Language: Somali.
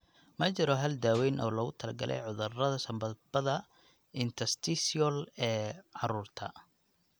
Ma jiro hal daaweyn oo loogu talagalay cudurrada sambabada interstitial ee carruurta.